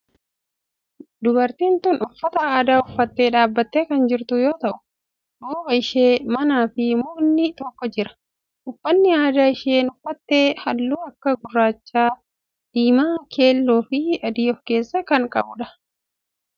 Dubartiin tun uffata aadaa uffattee dhaabbattee kan jirtu yoo ta'u duuba ishee manaa fi mukni tokko jira. Uffanni aadaa isheen uffatte halluu akka gurraacha, diimaa, keelloo fi adii of keessaa qaba.